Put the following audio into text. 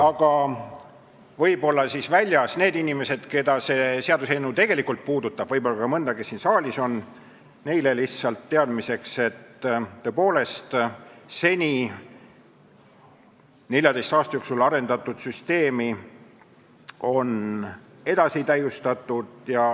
Aga võib-olla ütlen neile inimestele sellest saalist väljaspool, keda see seaduseelnõu tegelikult puudutab, ja võib-olla ka mõnele, kes siin saalis on, lihtsalt teadmiseks, et tõepoolest, 14 aasta jooksul arendatud süsteemi on nüüd edasi täiustatud.